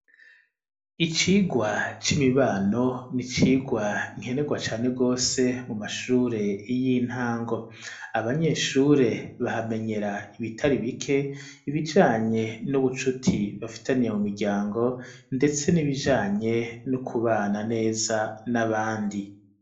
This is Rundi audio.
Icigwa c'imibano n'icigwa nkenerwa cane gose mu mashure y'intango abanyeshure bahamenyera ibitari bike ibijanye n'ubucuti bafitaniye mu miryango ndetse n'ibijanye no kubana neza n'abandi.